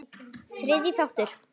Þriðji þáttur